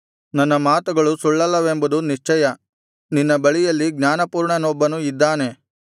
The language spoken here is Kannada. ನನ್ನ ಮಾತುಗಳು ಸುಳ್ಳಲ್ಲವೆಂಬುದು ನಿಶ್ಚಯ ನಿನ್ನ ಬಳಿಯಲ್ಲಿ ಜ್ಞಾನಪೂರ್ಣನೊಬ್ಬನು ಇದ್ದಾನೆ